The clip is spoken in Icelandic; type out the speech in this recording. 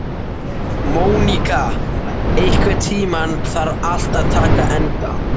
Móníka, einhvern tímann þarf allt að taka enda.